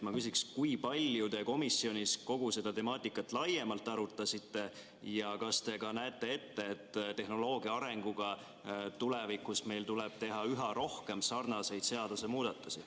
Ma küsiksin, kui palju te komisjonis kogu seda temaatikat laiemalt arutasite ja kas te näete ette, et koos tehnoloogia arenguga tuleb meil tulevikus teha üha rohkem sarnaseid seadusemuudatusi.